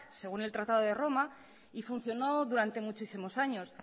según el tratado de roma y funcionó durante muchísimos años